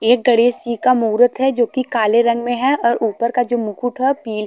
एक गणेश जी का मुहूर्त है जोकि काले रंग में है और ऊपर का जो मुकुट है पी--